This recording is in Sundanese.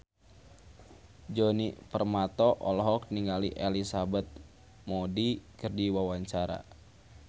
Djoni Permato olohok ningali Elizabeth Moody keur diwawancara